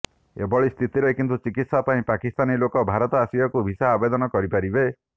ଏଭଳି ସ୍ଥିତିରେ କିନ୍ତୁ ଚିକିତ୍ସା ପାଇଁ ପାକିସ୍ତାନୀ ଲୋକ ଭାରତ ଆସିବାକୁ ଭିସା ଆବେଦନ କରିପାରିବେ